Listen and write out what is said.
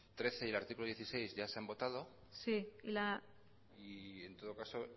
trece y el artículo dieciséis ya se han votado y en todo caso